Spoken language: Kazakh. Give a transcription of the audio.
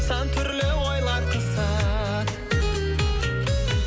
сан түрлі ойлар қысады